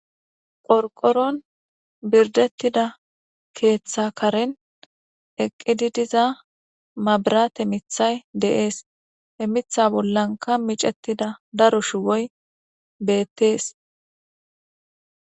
qorqoron birdettida keeththa karen eqqidi diza mabirate mithay de'es he mitha bollanka micettida daro shuboy bettees